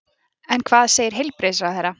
En hvað segir heilbrigðisráðherra?